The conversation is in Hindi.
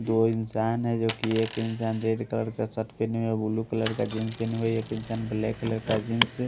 दो इंसान हैं जोकि एक इंसान रेड कलर शर्ट पहने हुए ब्लू कलर का जींस पहने हुए एक इंसान ब्लैक कलर का जीन्स --